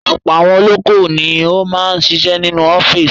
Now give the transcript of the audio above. Ọ̀pọ̀ àwọn olókòwò ni ó máa ń ṣiṣẹ́ nínú office.